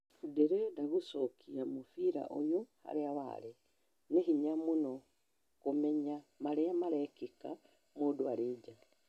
Ndirĩnda gũcokia mũbira ũyũ haria warĩ, nĩ hinya mũno kũmenya maria marekĩka mũndũ arĩ nja